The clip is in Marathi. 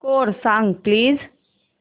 स्कोअर सांग प्लीज